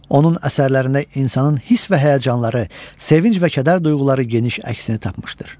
Onun əsərlərində insanın hiss və həyəcanları, sevinc və kədər duyğuları geniş əksini tapmışdır.